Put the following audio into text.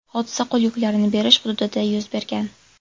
Hodisa qo‘l yuklarini berish hududida yuz bergan.